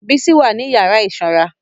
Bísí wà ní yàrá ìsanra